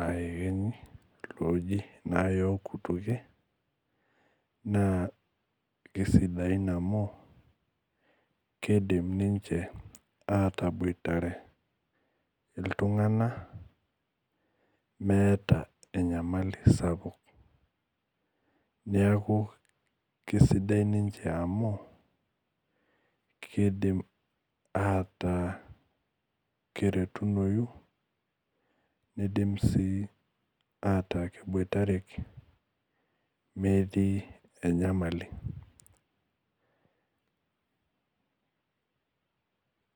aa ekenyi oji nayok kutukie na kisidain amu kidim ninche atoboitare ltunganak meeta enyemali sapuk neaku kesidai ninche amu kidim ata akeretunoyu nidim ataa keboitareki metii enyamali .